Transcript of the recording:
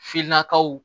Finnakaw